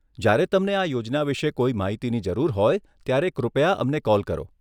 જ્યારે તમને આ યોજના વિશે કોઈ માહિતીની જરૂર હોય ત્યારે કૃપયા અમને કૉલ કરો.